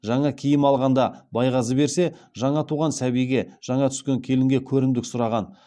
жаңа киім алғанда байғазы берсе жаңа туған сәбиге жаңа түскен келінге көрімдік сұраған